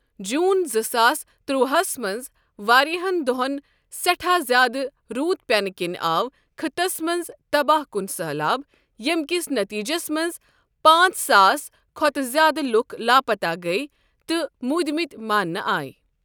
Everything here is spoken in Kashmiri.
جوٗن زٕ ساس تُرواہس منٛز، واریاہن دۄہن سٮ۪ٹھا زیٛادٕ روٗد پیٚنہٕ کِنۍ آو خٕطس منٛز تباہ کن سٔہلاب، ییٚمہِ کِس نٔتیٖجس منٛز پانٛژساس کھۄتہٕ زیٛادٕ لوٗکھ لاپَتاہ گٔیہِ تہٕ موٗدمٕتۍ مانٛنہٕ آیہ ۔